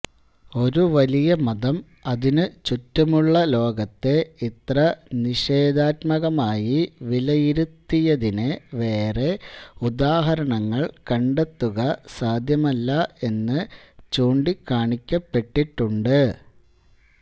ഒരു വലിയ മതം അതിനു ചുറ്റുമുള്ള ലോകത്തെ ഇത്ര നിഷേധാത്മകമായി വിലയിരുത്തിയതിന് വേറെ ഉദാഹരണങ്ങൾ കണ്ടെത്തുക സാദ്ധ്യമല്ല എന്നു ചൂണ്ടിക്കാണിക്കപ്പെട്ടിട്ടുണ്ട്